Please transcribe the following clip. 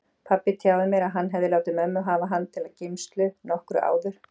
Pabbi tjáði mér að hann hefði látið mömmu hafa hann til geymslu nokkru áður.